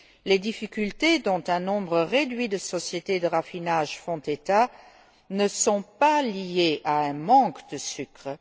Les difficultés dont un nombre réduit de sociétés de raffinage font état ne sont pas liées à un manque de sucre.